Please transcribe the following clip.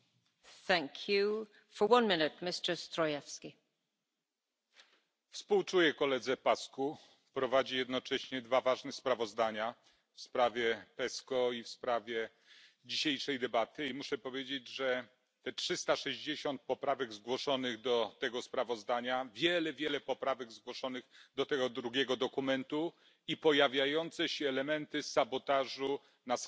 Pani Przewodnicząca! Współczuję koledze Paşcu. Prowadzi jednocześnie dwa ważne sprawozdania w sprawie PESCO i w sprawie dzisiejszej debaty i muszę powiedzieć, że te 360 poprawek zgłoszonych do tego sprawozdania, wiele, wiele poprawek zgłoszonych do tego drugiego dokumentu i pojawiające się elementy sabotażu na skrajnych częściach tej sali